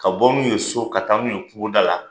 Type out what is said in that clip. Ka bɔ n'u ye so ka taa n'u ye kungoda la.